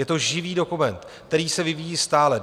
Je to živý dokument, který se vyvíjí stále.